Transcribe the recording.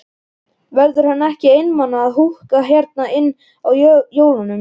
Verður hann ekki einmana að húka hérna einn á jólunum?